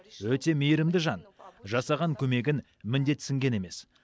өте мейірімді жан жасаған көмегін міндетсінген емес